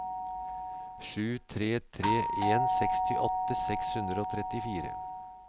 sju tre tre en sekstiåtte seks hundre og trettifire